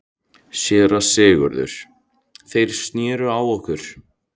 SÉRA SIGURÐUR: Þeir sneru á okkur.